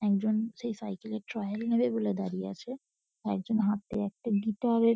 একজন সেই সাইকেল -এর ট্রায়াল নেবে বলে দাঁড়িয়ে আছে। আরেকজন হাতে একটা গিটার -এর --